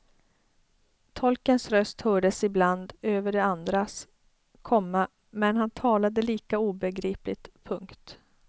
Tolkens röst hördes ibland över de andras, komma men han talade lika obegripligt. punkt